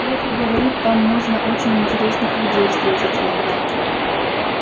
леха говорит там можно очень интересных людей встретить иногда